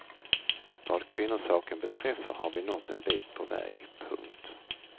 Vad kvinnosaken beträffar har vi nått en bit på väg. punkt